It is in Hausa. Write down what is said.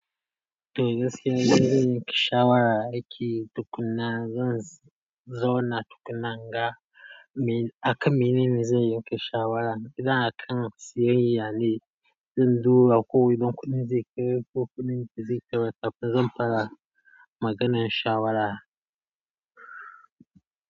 Togaskiya in zan yanke shawara aiki tukunna, zan zauna tukunna in ga, akan mene ne zan yanke shawara. Idan akan siyayya ne, zan duba ko within kuɗin zai kai ko kuma ba zai kai ba kafin zan fara maganan shawara.